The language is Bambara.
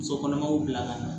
Muso kɔnɔmaw bila ka na